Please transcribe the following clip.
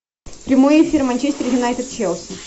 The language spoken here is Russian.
прямой эфир манчестер юнайтед челси